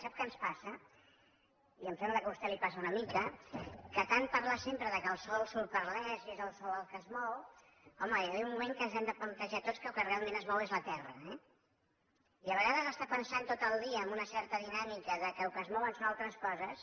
sap què ens passa i em sembla que a vostè li passa una mica que tant parlar sempre que el sol surt per l’est i és el sol el que es mou home hi ha d’haver un moment que ens hem de plantejar tots que el que realment es mou és la terra eh i a vegades estar pensant tot el dia en una certa dinàmica que el que es mouen són altres coses